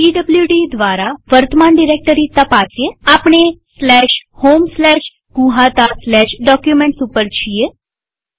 PWD દ્વારા વર્તમાન directory તપાસીએઆપણે homegnuhataDocuments ઉપર છીએ